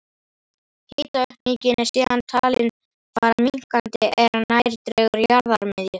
Hitaaukningin er síðan talin fara minnkandi er nær dregur jarðarmiðju.